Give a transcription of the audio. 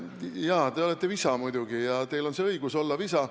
Jaa, te olete visa ja teil on muidugi õigus olla visa.